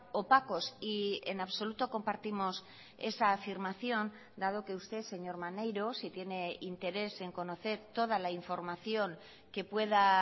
opacos y en absoluto compartimos esa afirmación dado que usted señor maneiro si tiene interés en conocer toda la información que pueda